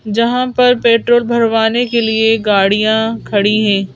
जहां पर पेट्रोल भरवाने के लिए गाड़ियां खड़ी है।